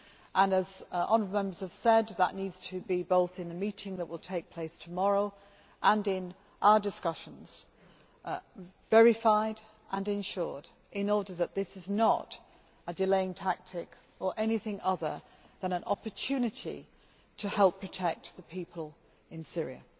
and, as honourable Members have said, that needs to be both in the meeting which will take place tomorrow and in our discussions verified and ensured, in order that this is not a delaying tactic or anything other than an opportunity to help protect the people in Syria.